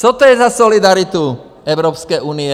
Co to je za solidaritu Evropské unie?